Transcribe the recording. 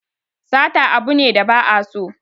Sata abu ne da ba a so